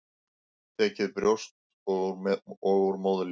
Tekið brjóst og úr móðurlífi.